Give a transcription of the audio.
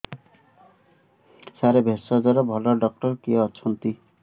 ସାର ଭେଷଜର ଭଲ ଡକ୍ଟର କିଏ ଅଛନ୍ତି